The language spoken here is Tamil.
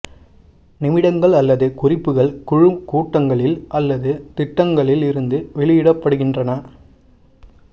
நிமிடங்கள் அல்லது குறிப்புகள் குழு கூட்டங்களில் அல்லது திட்டங்களில் இருந்து வெளியிடப்படுகின்றன